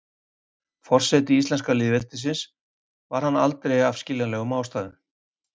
Forseti íslenska lýðveldisins var hann aldrei af skiljanlegum ástæðum.